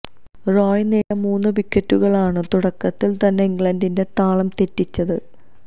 റോയ് നേടിയ മൂന്നു വിക്കറ്റുകളാണു തുടക്കത്തിൽ തന്നെ ഇംഗ്ലണ്ടിന്റെ താളം തെറ്റിച്ചത്